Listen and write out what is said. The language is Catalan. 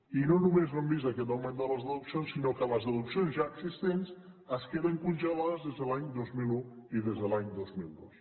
i no només no hem vist aquest augment de les deduccions sinó que les deduccions ja existents es queden congelades des de l’any dos mil un i des de l’any dos mil dos